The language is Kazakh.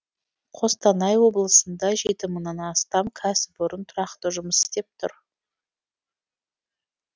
қостанай облысында жеті мыңнан астам кәсіпорын тұрақты жұмыс істеп тұр